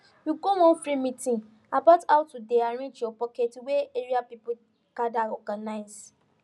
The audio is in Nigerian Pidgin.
we go one free meeting about how to dey arrange your pocket wey area people gather organize